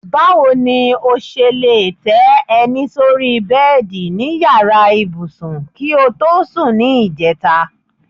Báwo ni o s̩e lè té̩ e̩ní sórí bé̩è̩dì ní yàrá ibùsùn kí o tọ́ sùn ní ìje̩ta?